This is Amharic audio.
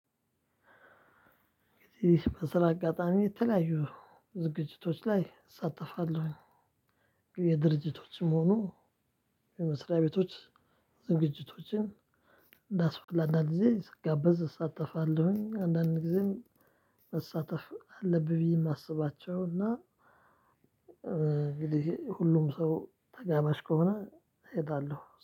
እዚህ በስራ አጋጣሚ የተለያዩ ዝግጅቶች ላይ እሳተፋለሁ የድርጅቶችም ሆኖ የመስሪያ ቤቶች ዝግጅቶችን አንዳንዴ ስጋበዝ እሳተፋለሁኝ አንዳንዴም መሳተፍ አለብኝ የማስባቸው እና ሁሉም ሰው ተጋማሽ ከሆነ እሄዳለሁ።